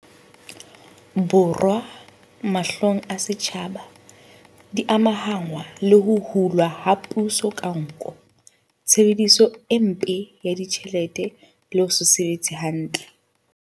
Borwa, mahlong a setjhaba, di amahanngwa le ho hulwa ha puso ka nko, tshebediso e mpe ya ditjhelete le ho se sebetse hantle.